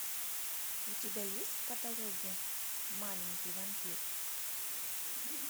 у тебя есть в каталоге маленький вампир